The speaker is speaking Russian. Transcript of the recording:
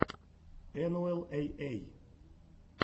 энуэл эй эй